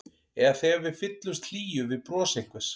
Eða þegar við fyllumst hlýju við bros einhvers.